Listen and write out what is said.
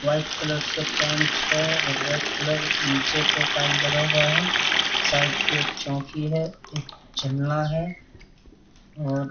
white colour से paint है और रेड कलर नीचे पे टाइल लगा हुआ है साइड पे एक चोंकी है एक झरना है और--